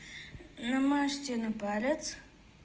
намажте на палец